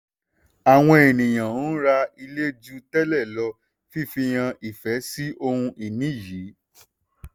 awon eniyan ń ra ilé ju tẹ́lẹ̀ lọ fifi hàn ìfẹ́ sí ohun-ini yìí.